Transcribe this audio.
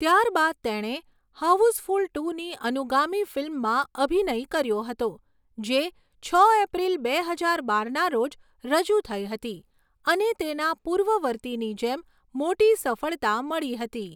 ત્યારબાદ તેણે 'હાઉસફુલ ટુ'ની અનુગામી ફિલ્મમાં અભિનય કર્યો હતો, જે છ એપ્રિલ બે હજાર બારના રોજ રજૂ થઈ હતી અને તેના પૂર્વવર્તીની જેમ મોટી સફળતા મળી હતી.